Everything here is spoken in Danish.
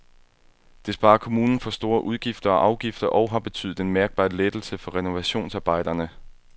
Det sparer kommunen for store udgifter og afgifter og har betydet en mærkbar lettelse for renovationsarbejderne.